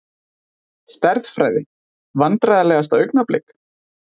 Stærðfræði Vandræðalegasta augnablik?